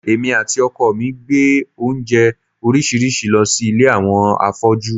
Èmi àti ọkọ mi gbé oúnjẹ oríṣiríṣi lọ sí ilé àwọn afọ́jú